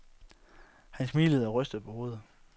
Han smilede og rystede på hovedet.